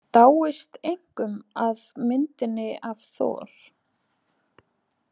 Dáist einkum að myndinni af Thor.